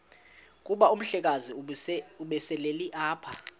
kuba umhlekazi ubeselelapha